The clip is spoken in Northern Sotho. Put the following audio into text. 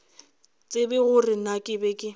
tsebe gore na ke be